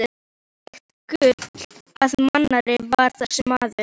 Hvílíkt gull af manni var þessi maður!